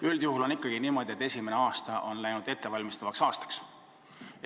Üldjuhul on esimene aasta ikka kujunenud ettevalmistavaks aastaks.